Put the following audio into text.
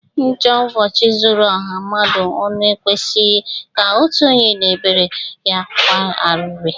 Njo ubochi zuru oha mmadu onu ekwesjghi ka otu onye na-ebere ya akwa ariri.